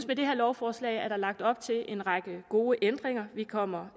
med det her lovforslag er lagt op til en række gode ændringer vi kommer